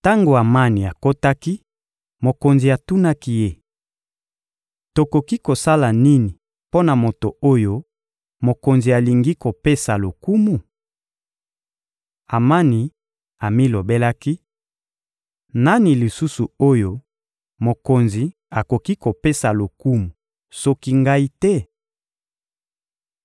Tango Amani akotaki, mokonzi atunaki ye: — Tokoki kosala nini mpo na moto oyo mokonzi alingi kopesa lokumu? Amani amilobelaki: «Nani lisusu oyo mokonzi akoki kopesa lokumu soki ngai te?»